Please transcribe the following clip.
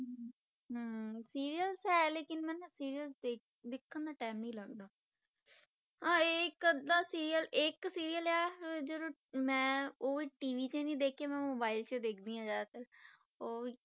ਹਮ serails ਹੈ ਲੇਕਿੰਨ ਮੈਨੂੰ serails ਦੇ~ ਦੇਖਣ ਦਾ time ਨੀ ਲੱਗਦਦਾ ਹਾਂ ਇੱਕ ਅੱਧਾ serail ਇੱਕ serail ਆ ਜਦੋਂ ਮੈਂ ਉਹ TV ਤੇ ਨੀ ਦੇਖਿਆ ਮੈਂ mobile 'ਚ ਦੇਖਦੀ ਹਾਂ ਜ਼ਿਆਦਾਤਰ ਉਹ ਵੀ,